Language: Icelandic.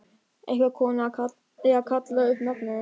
Einhver kona er að kalla upp nafnið hans.